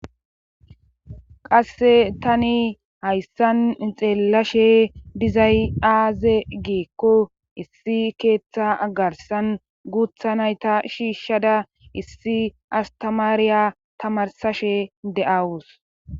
qasse tani hayssan xeellashe dizay aaze geekko issi keeththa agarsan guutha nayta shiishshada issi astamaariya tamarsashe de7awus